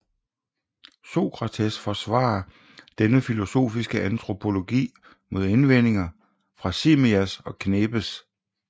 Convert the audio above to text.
Sokrates forsvarer denne filosofiske antropologi mod indvendinger fra Simmias og Khebes